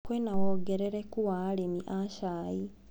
Kwĩna wongerereku wa arĩmi a cai.